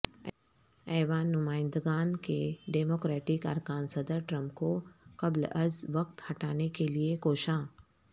ایوان نمائندگان کے ڈیموکریٹک ارکان صدر ٹرمپ کو قبل از وقت ہٹانے کیلئے کوشاں